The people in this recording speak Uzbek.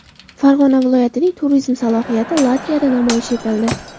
Farg‘ona viloyatining turizm salohiyati Latviyada namoyish etildi.